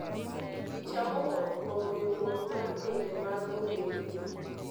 Picha mowuok kuom riwruok mar pinje mag ogendini.